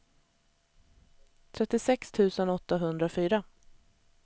trettiosex tusen åttahundrafyra